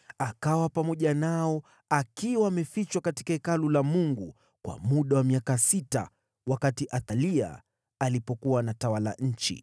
Alibaki amefichwa pamoja nao katika Hekalu la Mungu kwa muda wa miaka sita wakati Athalia alikuwa akitawala nchi.